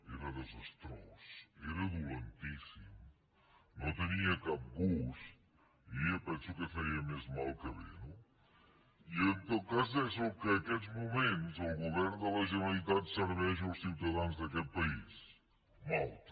era desastrós era dolentíssim no tenia cap gust i penso que feia més mal que bé no i en tot cas és el que aquests moments el govern de la generalitat serveix als ciutadans d’aquest país malta